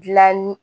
Dilanni